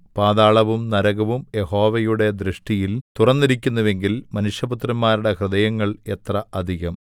പാതാളവും നരകവും യഹോവയുടെ ദൃഷ്ടിയിൽ തുറന്നിരിക്കുന്നുവെങ്കിൽ മനുഷ്യപുത്രന്മാരുടെ ഹൃദയങ്ങൾ എത്ര അധികം